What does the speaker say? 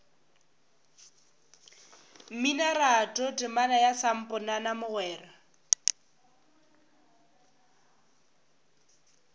mminoratho temana ya samponana mogwera